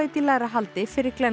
í lægra haldi fyrir